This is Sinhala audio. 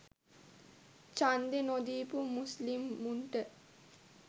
චන්දෙ නොදීපු මුස්ලිමුන්ට